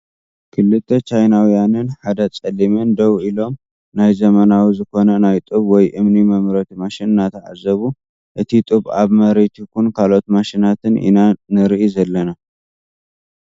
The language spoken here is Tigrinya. ክልተ ቻይናውያንን ሓደ ፀሊምን ደው ኢሎም ናይ ዘመናዊ ዝኮነ ናይ ጡብ ወይ እምኒ መምረቲ ማሽን እናተዓዘቡ እቲ ጡብ ኣብ መሬት ኮይኑ ካልኦት ማሽናትን ኢና ንርኢ ዘለና ።